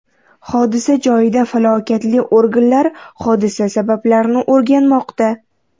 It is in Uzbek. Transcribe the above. Hodisa joyida vakolatli organlar hodisa sabablarini o‘rganmoqda.